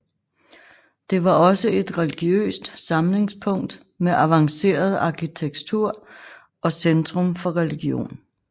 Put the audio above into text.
Det var også et religiøst samlingspunkt med avanceret arkitektur og centrum for religion